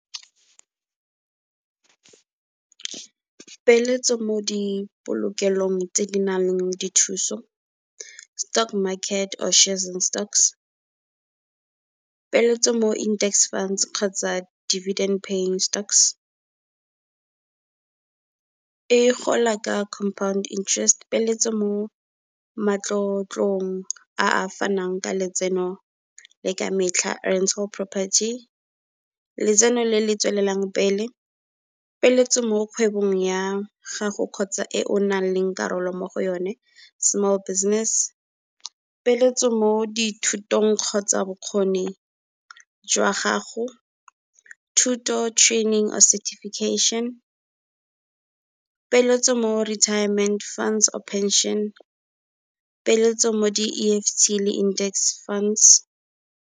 Peeletso mo di polokelong tse di nang le dithuso. Stock market or shares in stocks, peeletso mo index funds kgotsa divident paying stocks. E gola ka compound interest peeletso mo matlotlong a a fanang ka letseno le ka metlha, property letseno le le tswelelang pele, peeletso mo kgwebong ya gago kgotsa e o nnang le karolo mo go yone small business. Peeletso mo dithutong kgotsa bokgoni jwa gago. Thuto training certification, peeletso mo retirement funds or pension, peeletso mo di E_F_T le index funds.